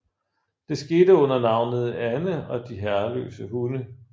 Det skete under navnet Anne og de herreløse hunde